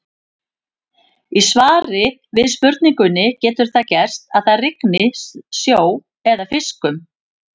Í svari við spurningunni Getur það gerst að það rigni sjó eða fiskum?